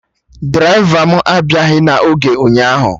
Draịva mụ abịaghị na oge ụnyaahụ